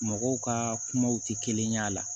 Mɔgɔw ka kumaw tɛ kelen y'a la